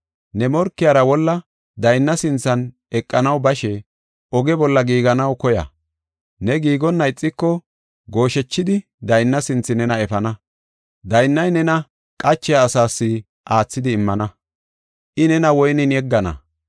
Ne morkiyara wolla daynna sinthan eqanaw bashe oge bolla giiganaw koya. Ne giigonna ixiko gooshechidi daynna sinthe nena efana. Daynnay nena qachiya asas aathidi immana. I nena woynen yeggana.